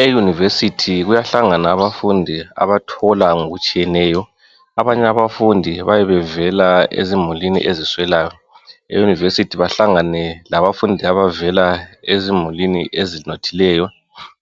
Euniversity kuyahlangana abafundi abathola ngokutshiyeneyo .Abanye abafundi bayabe bevela ezimulini eziswelayo .Euniversity bahlangane labafundi abevela ezimulini ezinothileyo